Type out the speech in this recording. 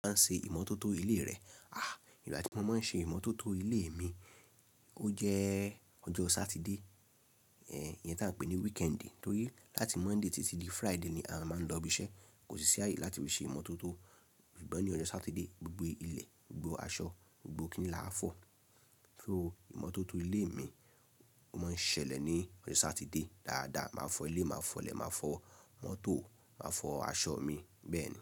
A máa ń se ìmọ́tótó ilé rẹ. Ìgbà tí mo máa ń ṣe ìmọ́tótó ilé mi ó jẹ́ ọjọ́ Satide. Ìyẹn tí à ń pè ní weekend, torí láti Monday títí di Friday ni a máa ń lọ ibi iṣẹ́. Kò sí sí áye láti fi ṣe ìmọ́tótó. Ṣùgbọ́n ni ọjọ́ Satide gbogbo ilẹ̀, gbogbo aṣọ, gbogbo kíni là a fọ̀. So ìmọ́tótó ilé mi ó máa ń ṣẹlẹ̀ ní ọjọ́ Satife dáadáa. Máa fọ ilé, màá fọlẹ̀, màá fọ mọ́tò, màá fọ aṣọ mi bẹ́ẹ̀ ni.